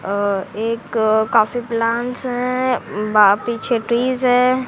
अं एक काफी प्लांटस है बा पीछे ट्रीज है।